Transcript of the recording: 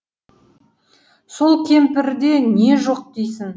сол кемпірде не жоқ дейсің